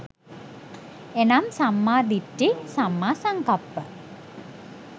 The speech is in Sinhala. එනම් සම්මා දිට්ඨි, සම්මා සංකප්ප,